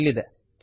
ಅದು ಇಲ್ಲಿದೆ